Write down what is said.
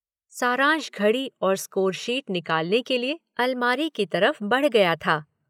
सारांश घड़ी और स्कोर-शीट निकालने के लिए अलमारी की तरफ बढ़ गया था।